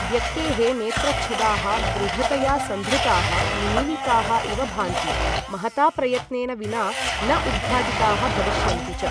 व्यक्तेः नेत्रच्छदाः दृढतया सन्धृताः निमीलिताः इव भान्ति, महता प्रयत्नेन विना न उद्घाटिताः भविष्यन्ति च।